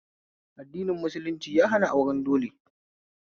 Addini musulunci ya hana auren dole